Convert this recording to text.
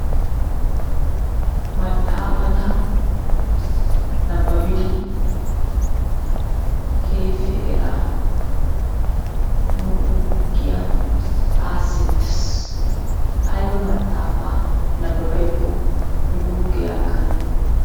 Maxaafata nabbabbidi keehippe eraa nu guuggiya aaseettees, ayba maxaafaa nabbabbiyakko nu guuggee aakkana dandday..